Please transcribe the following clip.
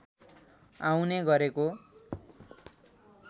आउने गरेको